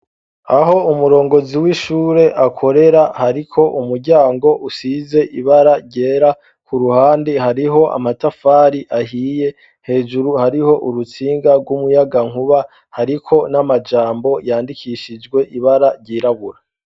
Aho umurongozi w'ishure akorera hariko umuryango usize ibara ryera ku ruhande hariho amatafari ahiye hejuru hariho urutsinga rw'umuyagankuba hariko n'amajambo yandikishijwe ibara ryirabura.